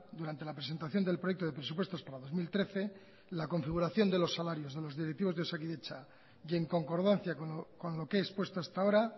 durante la presentación del proyecto de presupuestos para dos mil trece la configuración de los salarios de los directivos de osakidetza y en concordancia con lo que he expuesto hasta ahora